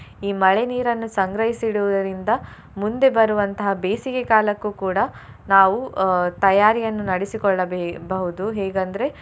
ಈ ಮಳೆ ನೀರನ್ನು ಸಂಗ್ರಹಿಸಿ ಇಡುವುದರಿಂದ ಮುಂದೆ ಬರುವಂತಹ ಬೇಸಿಗೆ ಕಾಲಕ್ಕೂ ಕೂಡ ನಾವು ಅಹ್ ತಯಾರಿಯನ್ನು ನಡೆಸಿ ಕೊಳ್ಳಬೆ~ ಬಹುದು ಹೇಗಂದ್ರೆ.